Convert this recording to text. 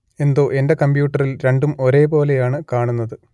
എന്തോ എന്റെ കമ്പ്യൂട്ടറിൽ രണ്ടും ഒരേ പോലെ ആണ് കാണുന്നത്